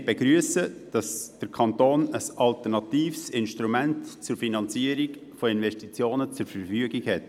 Wir begrüssen, dass dem Kanton ein alternatives Instrument zur Finanzierung von Investitionen zur Verfügung steht.